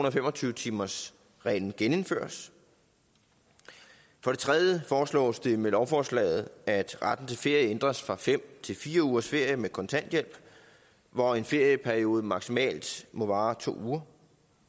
og fem og tyve timersreglen genindføres for det tredje foreslås det med lovforslaget at retten til ferie ændres fra fem til fire ugers ferie med kontanthjælp hvor en ferieperiode maksimalt må vare to uger